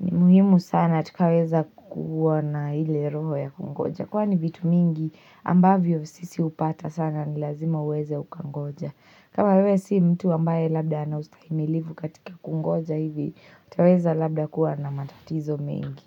ni muhimu sana tukaweza kukua na ile roho ya kungoja. Kwani vitu mingi ambavyo sisi hupata sana ni lazima uweze ukangoja. Kama wewe si mtu ambaye labda ana ustahimilifu katika kungoja hivi, utaweza labda kuwa na matatizo mengi.